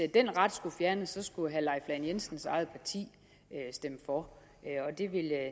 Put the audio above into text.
den ret skulle fjernes skulle herre leif lahn jensens eget parti stemme for og det vil